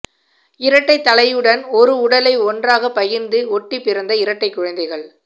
இரட்டை தலையுடன் ஒரு உடலை ஒன்றாக பகிர்ந்து ஒட்டிப்பிறந்த இரட்டை குழந்தைகள்